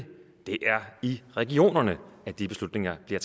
det er i regionerne at de beslutninger bliver